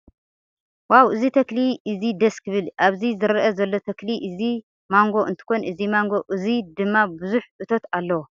ዋው እዚ ተክሊ እዚ ደስ ክብል። ኣብዚ ዝረአየና ዘሎ ተክሊ እዚ ማንጎ እንትኮን እዚ ማንጎ እዚ ድማ ቡዙሕ እቶት ኣለዎ።